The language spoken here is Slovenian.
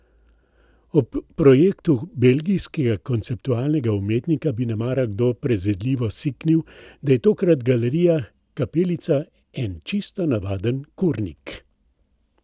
Ob projektu belgijskega konceptualnega umetnika bi nemara kdo prezirljivo siknil, da je tokrat Galerija Kapelica en čisto navaden kurnik.